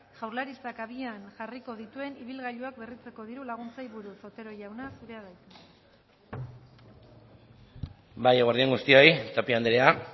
jaurlaritzak abian jarriko dituen ibilgailuak berritzeko diru laguntzei buruz otero jauna zurea da hitza bai eguerdi on guztioi tapia andrea